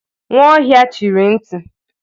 Nwaohia chịrị nti.